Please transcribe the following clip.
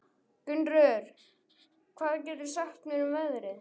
Gunnröður, hvað geturðu sagt mér um veðrið?